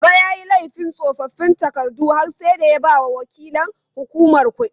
Baba yayi laifin tsofaffin takardu har sai da ya bawa waƙilan hukumar kuɗi.